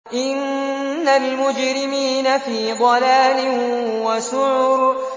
إِنَّ الْمُجْرِمِينَ فِي ضَلَالٍ وَسُعُرٍ